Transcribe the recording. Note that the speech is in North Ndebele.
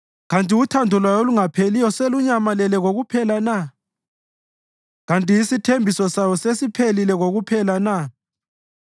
Kanti uthando lwayo olungapheliyo selunyamalele kokuphela na? Kanti isithembiso sayo sesiphelile kokuphela na?